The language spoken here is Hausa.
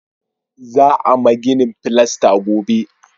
Za a ma ginin filasta gobe